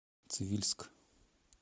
цивильск